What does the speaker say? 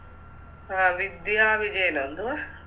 ആ വിദ്യ വിജയനോ എന്തുവാ